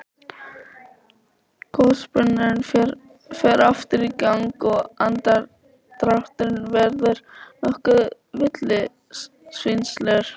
Gosbrunnurinn fer aftur í gang og andardrátturinn verður nokkuð villisvínslegur.